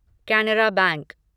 Canara bank